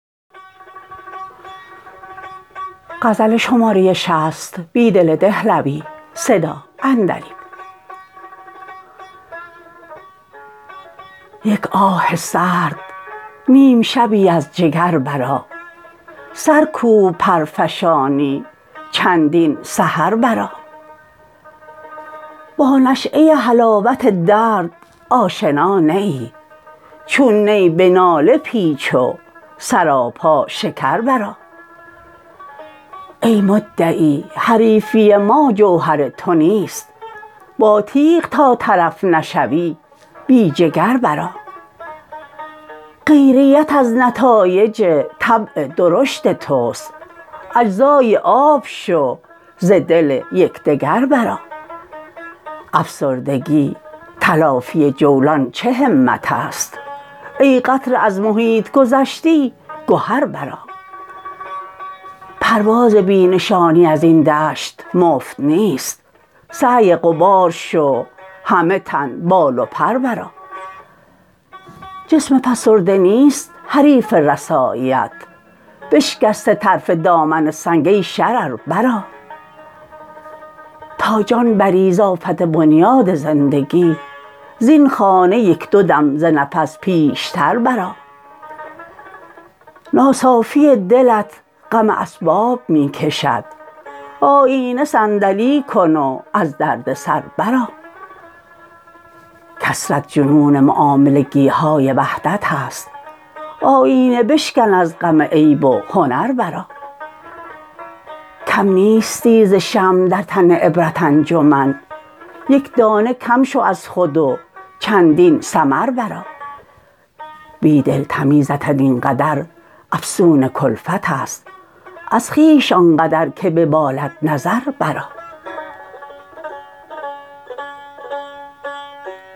یک آه سرد نیم شبی از جگر برآ سرکوب پرفشانی چندین سحر برآ با نشیه حلاوت درد آشنا نه ای چون نی به ناله پیچ و سراپا شکر برآ ای مدعی حریفی ما جوهر تو نیست با تیغ تا طرف نشوی بی جگر برآ غیریت از نتایج طبع درشت توست اجزای آب شو ز دل یکدگر برآ افسردگی تلافی جولان چه همت است ای قطره از محیط گذشتی گهر برآ پرواز بی نشانی از این دشت مفت نیست سعی غبار شو همه تن بال و پر برآ جسم فسرده نیست حریف رسایی ات نشکسته طرف دامن سنگ ای شرر برآ تا جان بری ز آفت بنیاد زندگی زین خانه یک دو دم ز نفس پیشتر برآ ناصافی دلت غم اسباب می کشد آیینه صندلی کن و از دردسر برآ کثرت جنون معاملگی های وحدت است آیینه بشکن از غم عیب و هنر برآ کم نیستی ز شمع در این عبرت انجمن یک دانه کم شو از خود و چندین ثمر برآ بیدل تمیزت این قدر افسون کلفت است از خویش آنقدر که ببالد نظر برآ